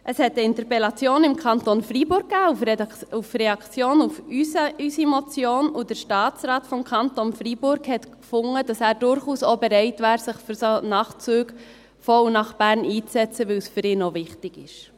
Es gab eine Interpellation im Kanton Freiburg als Reaktion auf unsere Motion, und der Staatsrat des Kantons Fribourg fand, dass er durchaus auch bereit wäre, sich für solche Nachtzüge nach Bern einzusetzen, weil es für ihn auch wichtig ist.